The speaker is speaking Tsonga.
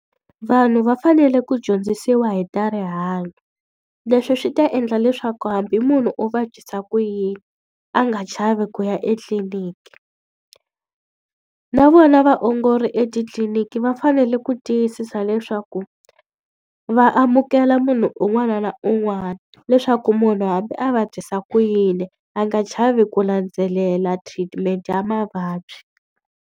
Vanhu va fanele ku dyondzisiwa hi ta rihanyo, leswi swi ta endla leswaku hambi munhu o vabyisa ku yini a nga chavi ku ya etliliniki. Na vona vaongori etitliliniki va fanele ku tiyisisa leswaku va amukela munhu un'wana na un'wana. Leswaku munhu hambi a vabyisa ku yini, a nga chavi ku landzelela treatment ya mavabyi.